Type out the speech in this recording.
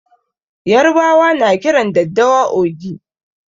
Yarbawa na kiran daddawa "ogi".